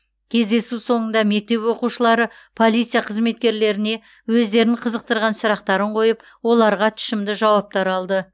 кездесу соңында мектеп оқушылары полиция қызметкерлеріне өздерін қызықтырған сұрақтарын қойып оларға тұшымды жауаптар алды